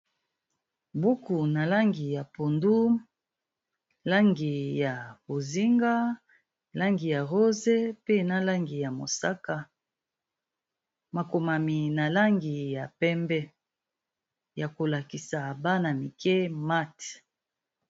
Buku na langi ya pondu, langi ya bozinga, langi ya rose pe na langi ya mosaka. Ma komami na langi ya pembe, ya ko lakisa Bana mike math.